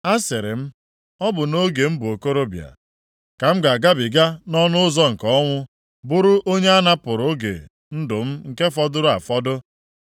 Asịrị m, “Ọ bụ nʼoge m bụ okorobịa ka m ga-agabiga nʼọnụ ụzọ nke ọnwụ, bụrụ onye anapụrụ oge ndụ m nke fọdụrụ afọdụ?”